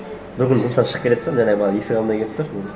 бір күні жұмыстан шығып келе жатсам жаңағы бала есік алдында келіп тұр